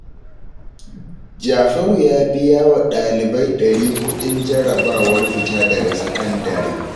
Jafaru ya biya wa ɗalibai ɗari kuɗin jarrabawar fita daga sakandare